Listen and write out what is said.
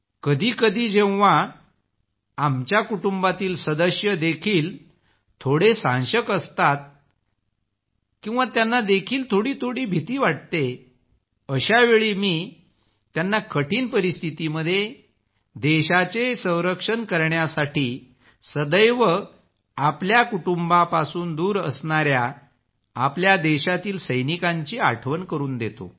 कधीकधी जेव्हा आमच्या कुटुंबातील सदस्य देखील थोडे साशंक असतात किंवा त्यांना देखील थोडी भीती वाटते अशावेळी मी त्यांना कठीण परिस्थितीमध्ये देशाचे संरक्षण करण्यासाठी सदैव आपल्या कुटुंबापासून दूर असणाऱ्या आपल्या देशातील सैनिकांची आठवण करून देतो